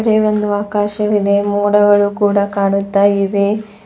ಮೇಲೆ ಒಂದು ಆಕಾಶವಿದೆ ಮೋಡಗಳು ಕೂಡ ಕಾಣುತ್ತ ಇವೆ.